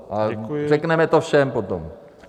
A řekneme to všem potom.